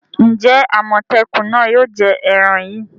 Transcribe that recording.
Ǹjẹ́ àmòtẹ́kùn náà yóò jẹ èran yìí?